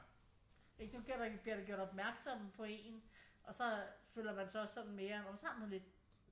Ikke der bliver man jo gjort opmærksomme på en og så øh føler man sig også sådan mere nå men så har man lidt